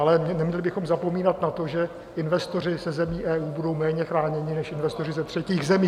Ale neměli bychom zapomínat na to, že investoři ze zemí EU budou méně chráněni, než investoři ze třetích zemí.